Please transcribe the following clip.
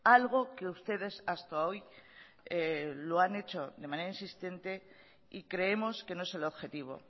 algo que ustedes hasta hoy lo han hecho de manera insistente y creemos que no es el objetivo